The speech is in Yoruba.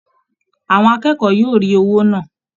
Àwọn akẹ́kọ̀ọ́ yóò rí owó náà